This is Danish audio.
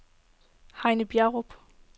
Heine Bjerrum